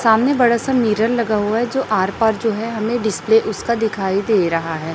सामने बड़ा सा मिरर लगा हुआ है जो आर पार जो है हमें डिस्प्ले उसका दिखाई दे रहा है।